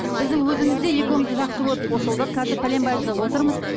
біздің өзіміз де екеуміз де жақсы көріп қосылдық қазір пәленбай жыл отырмыз